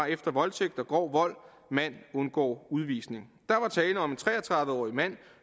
efter voldtægt og grov vold mand undgår udvisning der var tale om en tre og tredive årig mand